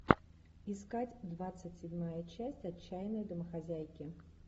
искать двадцать седьмая часть отчаянные домохозяйки